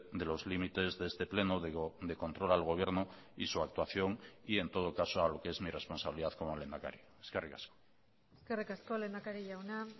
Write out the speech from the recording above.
de los límites de este pleno de control al gobierno y su actuación y en todo caso a lo que es mi responsabilidad como lehendakari eskerrik asko eskerrik asko lehendakari jauna